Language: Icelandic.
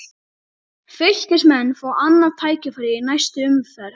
Fylkismenn fá annað tækifæri í næstu umferð